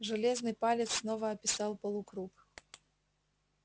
железный палец снова описал полукруг